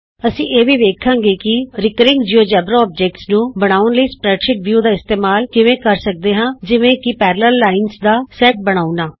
ਅਸੀਂ ਇਹ ਵੀ ਵੇਖਾਂਗੇ ਕਿ ਆਵਰਤਕ ਜਿਉੇਜੇਬਰਾ ਅਕਾਰਾਂ ਨੂੰ ਬਣਾਉਣ ਲਈ ਸਪਰੈਡਸ਼ੀਟ ਵਿਊ ਦਾ ਇਸਤੇਮਾਲ ਕਿਵੇਂ ਕਰ ਸਕਦੇ ਹਾਂ ਜਿਵੇਂ ਕਿ ਸਮਾਂਤਰ ਰੇਖਾਵਾਂ ਦਾ ਸੈਟ ਬਣਾਉਣਾ